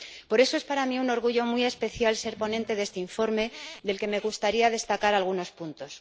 Por eso, es para mí un orgullo muy especial ser ponente de este informe, del que me gustaría destacar algunos puntos.